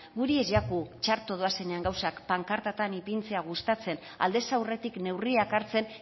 guri ez jaku txarto doazenean gauzak pankartatan ipintzea gustatzen aldez aurretik neurriak hartzen